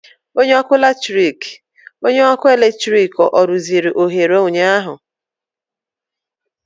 Onye ọrụ ọkụ eletrik ọ rụziri oghere ụnyaahụ?